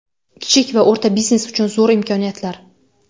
Kichik va o‘rta biznes uchun zo‘r imkoniyatlar .